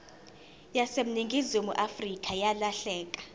yaseningizimu afrika yalahleka